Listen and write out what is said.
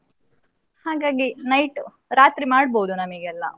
ಹಾಗಾಗಿ night ರಾತ್ರಿ ಮಾಡ್ಬೋದು ನಮಿಗೆಲ್ಲ.